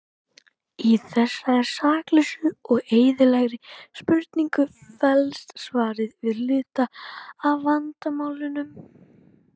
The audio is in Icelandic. Í þessari saklausu og eðlilegri spurningu felst svarið við hluta af vandamálinu.